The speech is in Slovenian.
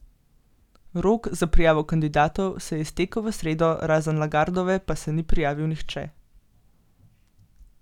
Rok za prijavo kandidatov se je iztekel v sredo, razen Lagardove pa se ni prijavil nihče.